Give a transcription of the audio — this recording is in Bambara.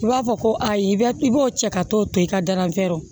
I b'a fɔ ko ayi bɛ i b'o cɛ ka t'o to i ka daranfɛrɛ